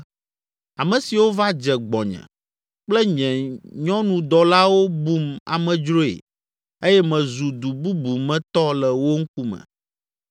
Ame siwo va dze gbɔnye kple nye nyɔnudɔlawo bum amedzroe eye mezu du bubu me tɔ le wo ŋkume.